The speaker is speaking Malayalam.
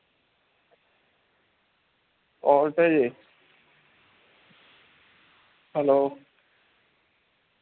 voltage hello